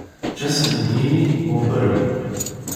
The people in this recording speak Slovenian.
Če sem med njimi, bom prvi.